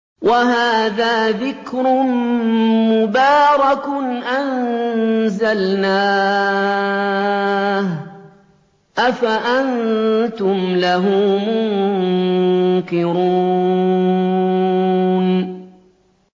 وَهَٰذَا ذِكْرٌ مُّبَارَكٌ أَنزَلْنَاهُ ۚ أَفَأَنتُمْ لَهُ مُنكِرُونَ